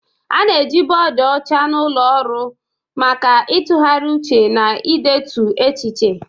A na-eji bọọdụ ọcha na ụlọ ọrụ maka ịtụgharị uche na idetu echiche.